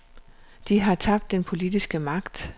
De har tabt den politiske magt.